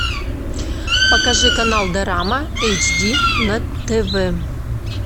покажи канал дорама эйч ди на тв